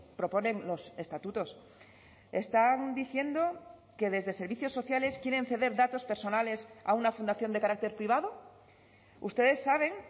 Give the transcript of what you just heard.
proponen los estatutos están diciendo que desde servicios sociales quieren ceder datos personales a una fundación de carácter privado ustedes saben